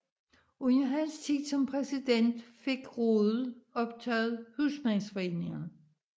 Under hans tid som præsident fik rådet optaget husmandsforeningerne